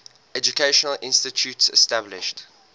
educational institutions established